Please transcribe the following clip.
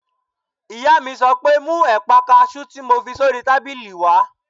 Ìyá mi sọ pé "mú ẹ̀pà kaasú tí mo fi sórí tábìlì wá!"